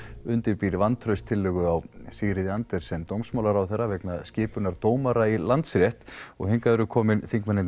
undirbýr vantrauststillögu á Sigríði Andersen dómsmálaráðherra vegna skipunar dómara í Landsrétt og hingað eru komnir þingmennirnir